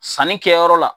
Sanni kɛyɔrɔ la